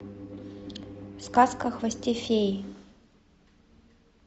сказка о хвосте феи